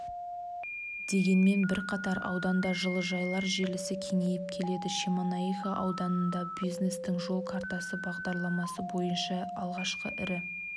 дегенмен бірқатар ауданда жылыжайлар желісі кеңейіп келеді шемонаиха ауданында бизнестің жол картасы бағдарламасы бойынша алғашқы ірі